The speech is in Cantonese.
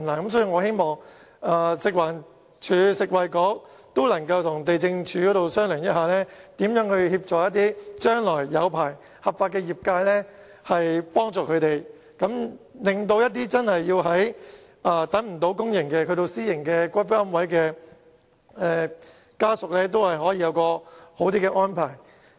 因此，我希望食物環境衞生署和食物及衞生局能夠與地政總署商討，如何協助將來獲發牌或合法經營的業界，令那些等不到公營龕位而要購買私營龕位的家屬會有較好的安排。